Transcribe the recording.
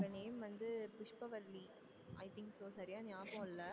name வந்து Pushpavalli i think so சரியா ஞாபகம் இல்லை